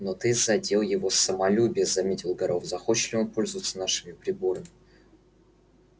но ты задел его самолюбие заметил горов захочет ли он пользоваться нашими приборами